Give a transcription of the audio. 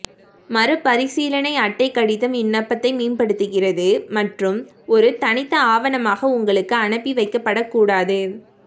மறுபரிசீலனை அட்டை கடிதம் விண்ணப்பத்தை மேம்படுத்துகிறது மற்றும் ஒரு தனித்த ஆவணமாக உங்களுக்கு அனுப்பி வைக்கப்படக் கூடாது